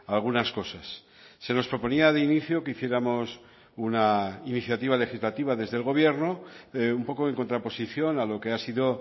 algunas cosas se nos proponía de inicio que hiciéramos una iniciativa legislativa desde el gobierno un poco en contraposición a lo que ha sido